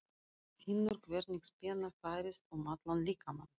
Finnur hvernig spenna færist um allan líkamann.